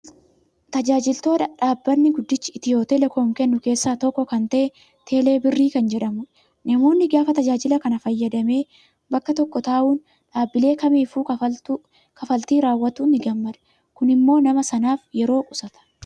Tajaajiloota dhaabbanni guddichi Itiyoo telekoom kennu keessaa tokko kan ta'e, teeleebirrii kan jedhamudha. Namni gaafa tajaajila kana fayyadamee bakka tokko taa'uun dhaabbilee kamiifuu kaffaltuu raawwatu ni gammada. Kunimmoo nama sanaaf yeroo qusata.